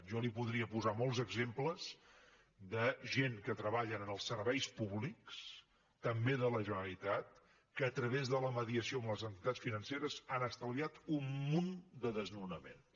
jo li podria posar molts exemples de gent que treballa en els serveis públics també de la generalitat que a través de la mediació amb les entitats financeres ha estalviat un munt de desnonaments